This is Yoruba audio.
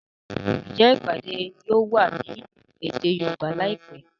Njé ìpàdé yóò wá ní èdè Yorùbá láìpé?